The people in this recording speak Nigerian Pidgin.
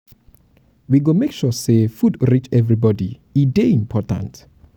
we go make sure sey food reach everybodi e dey dey important.